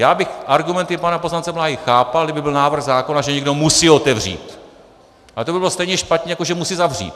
Já bych argumenty pana poslance Bláhy chápal, kdyby byl návrh zákona, že někdo musí otevřít, ale to by bylo stejně špatně, jako že musí zavřít.